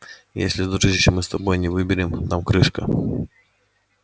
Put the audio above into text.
и если дружище мы с тобой не выберем нам крышка